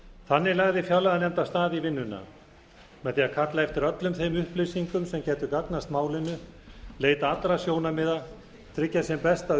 þannig lagði fjárlaganefnd af stað í vinnuna með því að kalla eftir öllum þeim upplýsingum sem gætu gagnast málinu leita allra sjónarmiða tryggja sem besta